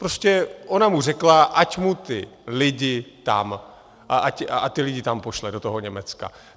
Prostě ona mu řekla, ať mu ty lidi tam, ať ty lidi tam pošle, do toho Německa.